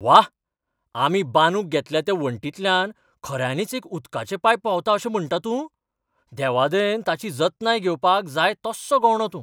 व्हा, आमी बांदूंक घेतल्या त्या वणटींतल्यान खऱ्यांनींच एक उदकाचें पायप व्हांवता अशें म्हणटा तूं? देवादयेन, ताची जतनाय घेवपाक जाय तस्सो गवंडो तूं.